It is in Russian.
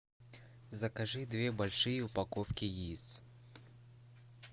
закажи две большие упаковки яиц